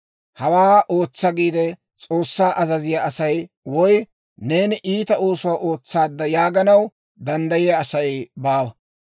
‹Hawaa ootsa› giide S'oossaa azaziyaa asay, woy, ‹Neeni iita oosuwaa ootsaadda› yaaganaw danddayiyaa Asay baawa.